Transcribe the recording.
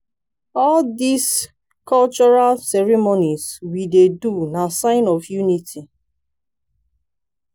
all dese cultural ceremonies we dey do na sign of unity.